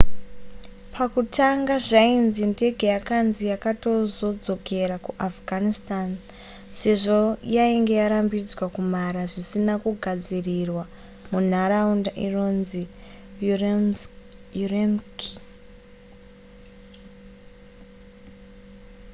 pakutanga zvainzi ndege yakanzi yakatozodzokera kuafghanistan sezvo yainge yarambidzwa kumhara zvisina kugadzirirwa munharaunda inonzi ürümqi